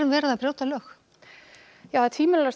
verið að brjóta lög já tvímælalaust